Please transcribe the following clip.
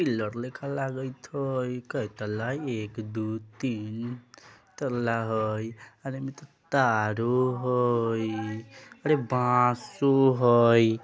लागत हई कई तल्ला हइ एक दो तीन तल्ला हाई अरे में तो तारो हइ अरे बाँसो होई।